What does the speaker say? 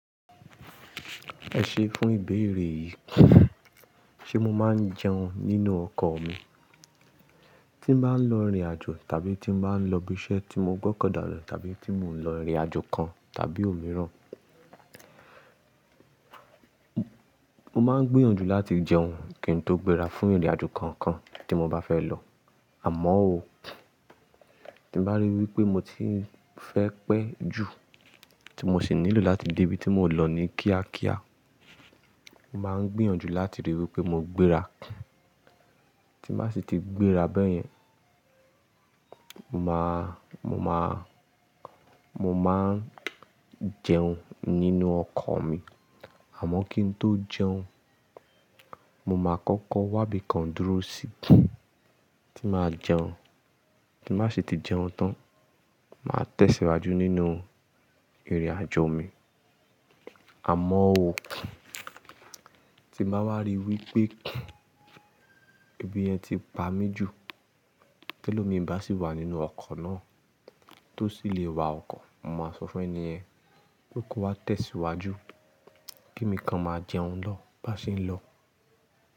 Ẹ ṣe fún ìbéèrè yìí. Ṣé mo máa ń jẹun nínú ọkọ̀ mi? Tí n bá ń lọ ìrìnàjò tàbí tí n bá ń lọ ibi iṣẹ́ tí mo gbọ́kàn dára tàbí tí mò ń lọ ìrìnàjò kan tàbí òmíràn. Mo máa ń gbìyànjú láti jẹun kí n tó gbéra fún ìrìnàjò kankan tí mo bá fẹ́ lọ. Àmọ́ ó, tí bá rí wí pé mo ti ń fẹ́ pẹ́ jù tí mo sì nílò láti dé ibi tí mò ń lọ ní kíákíá, mo máa ń gbìyànjú láti rí i wí pé mo gbéra. Tí n bá ṣi ti gbéra bẹ́yẹn, mo máa, mo máa, mo máa ń jẹun nínú ọkọ̀ mi. Àmọ́ kí n tó jẹun, mo máa kọ́kọ́ wá ibìkan dúró síbi tí màá jẹun. Tí màá ṣe ti jẹun tán, màá tẹ̀síwájú nínú ìrìnàjò mi. Àmọ́ ó, tí bá wá rí i wí pé ebi yẹn ti pa mí jù, tẹ́lo mi bá sì wà nínú ọkọ̀ náà tó sì lè wa ọkọ̀, mo máa sọ fún ẹni yẹn pe kó wá tẹ̀síwájú kí emìkan máa jẹun lọ bá ṣe ń lọ.